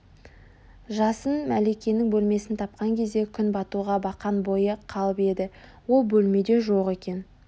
жасын мәликенің бөлмесін тапқан кезде күн батуға бақан бойы қалып еді ол бөлмеде жоқ екен